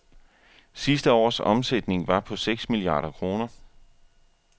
Sidste års omsætning var på seks milliarder kroner.